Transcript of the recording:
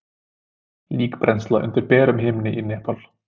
líkbrennsla undir berum himni í nepal